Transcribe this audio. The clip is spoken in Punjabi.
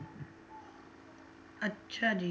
ਅੱਛਾ ਜੀ,